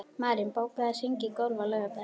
Marín, bókaðu hring í golf á laugardaginn.